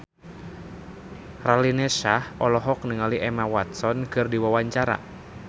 Raline Shah olohok ningali Emma Watson keur diwawancara